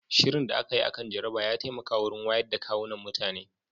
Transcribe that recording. Shirin da aka yi akan jaraba ya taimaka wurin wayoyin da kwunan mutane